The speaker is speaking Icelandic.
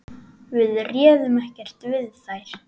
Við réðum ekkert við þær.